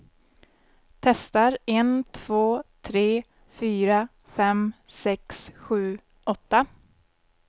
Testar en två tre fyra fem sex sju åtta.